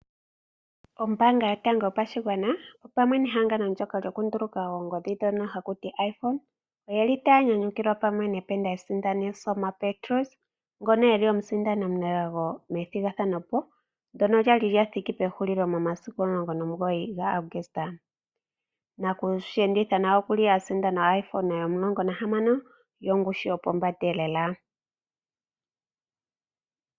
Ombaanga yotango yopashigwana opamwe nehangano ndono lyokunduluka oongodhi ndhono haku ti "iPhone" oyeli taya nyanyukilwa pamwe dependant esindani Selma Petrus ngono eli omusindani omunelago methigathano ndono lyathikile pehulilo momasiku 19 Aguste. Nakushi enditha nawa okwa sindana iPhone 16 yongushu yopombanda elela.